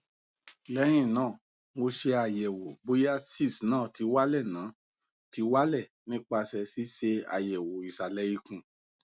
lehina mo se ayewo boya cysts na ti wale na ti wale nipase sise ayewo isale ikun